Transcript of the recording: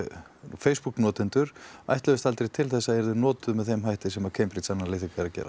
Facebook notendur ætluðust aldrei til þess að yrðu notuð með þeim hætti sem Cambridge Analytica er að gera